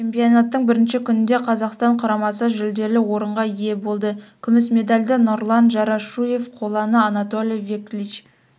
чемпионаттың бірінші күнінде қазақстан құрамасы жүлделі орынға ие болды күміс медальды нұрлан джарашуев қоланы анатолий веклич